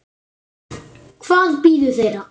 Hvað bíður þeirra?